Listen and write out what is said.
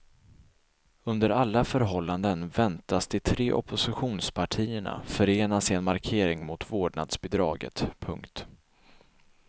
Under alla förhållanden väntas de tre oppositionspartierna förenas i en markering mot vårdnadsbidraget. punkt